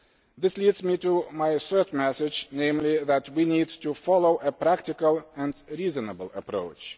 This leads me to my third message, namely that we need to follow a practical and reasonable approach.